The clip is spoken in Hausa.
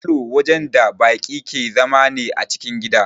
Falow wajen da baki ke zama ne a cikin gida